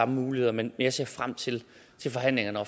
muligheder men jeg ser frem til til forhandlingerne og